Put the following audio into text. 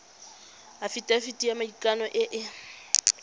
afitafiti ya maikano e e